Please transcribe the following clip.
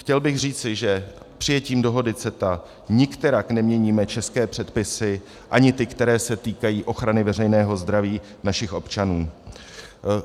Chtěl bych říci, že přijetím dohody CETA nikterak neměníme české předpisy, ani ty, které se týkají ochrany veřejného zdraví našich občanů.